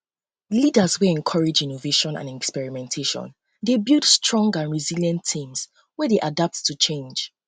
leaders wey encourage innovation and experimentation dey build strong and resilient teams wey dey adapt to change